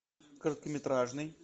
короткометражный